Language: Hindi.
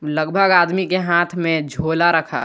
लगभग आदमी के हाथ में झोला रखा।